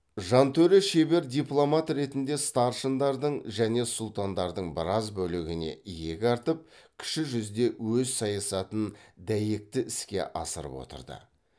жантөре шебер дипломат ретінде старшындардың және сұлтандардың біраз бөлігіне иек артып кіші жүзде өз саясатын дәйекті іске асырып отырды